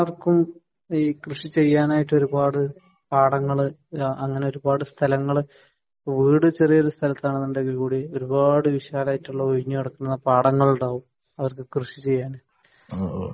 ഇവിടെ എല്ലാവര്ക്കും കൃഷി ചെയ്യാനായിട്ട് പാടങ്ങൾ , അങ്ങനെ ഒരു പാട് സ്ഥലങ്ങൾ വീട് ചെറിയ സ്ഥലത്താണെങ്കിലും ഒരുപാടു സ്ഥലത്തു ഒഴിഞ്ഞുകിടക്കുന്ന പാടങ്ങൾ ഉണ്ടാവും അവർക്ക് കൃഷി ചെയ്യാൻ